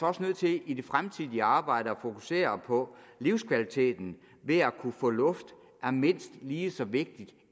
også nødt til i det fremtidige arbejde at fokusere på at livskvaliteten ved at kunne få luft er mindst lige så vigtig